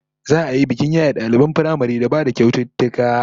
Za'a yi bikin yaye daliban firamaren da ba da kyaututtuka